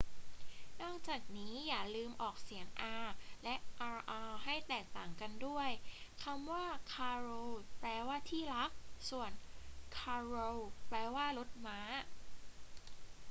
นอกจากนี้ อย่าลืมออกเสียง r และ rr ให้แตกต่างกันด้วย คำว่า caro แปลว่าที่รัก ส่วน carro แปลว่ารถม้า